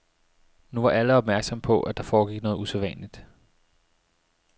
Nu var alle opmærksomme på, at der foregik noget usædvanligt.